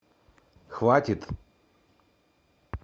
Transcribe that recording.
хватит